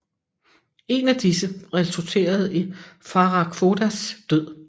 En af disse resulterede i Farag Fodas død